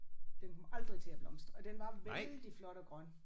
Den kom aldrig til at blomstre og den var vældig flot og grøn